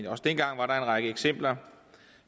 også dengang var en række eksempler